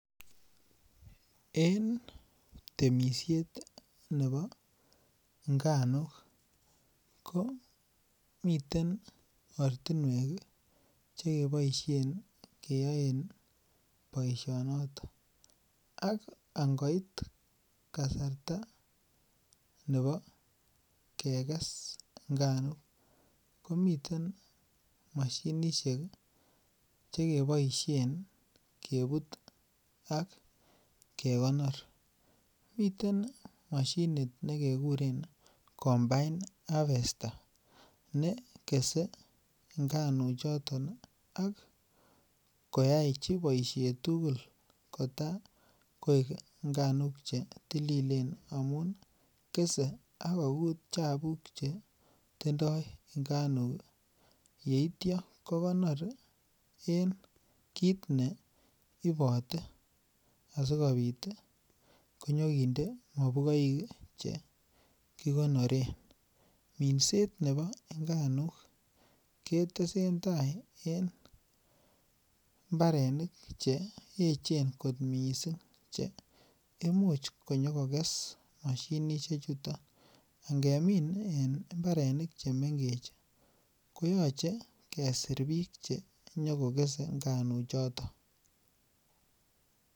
En temisiet nebo nganuk ko mite ortinwek Che keboisien keyoen boisinoto ak angoit kasarta nebo keges nganuk ko miten mashinisiek Che keboisien kebut ak kekonor miten ne kekuren combined harvester ne kese nganuchoto ak koyochi boisiet tugul Kota koik nganuk Che tililen angamun kesei ak kokut chabuk Che tindoi nganuk yeityo ko konor en kit neibote asikobit konyo kinde mobugoik Che ki konoren minset nebo nganuk ketesentai en mbarenik Che echen kot mising Che imuch konyo koges mashinisiechuto angemin en mbarenik Che mengech ko yoche kesir bik Che kogese nganuchoto